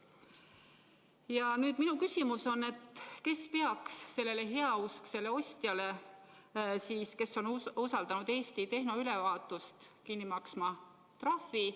Ja nüüd minu küsimus on: kes peaks sellele heausksele ostjale, kes on usaldanud Eesti tehnoülevaatust, trahvi kinni maksma?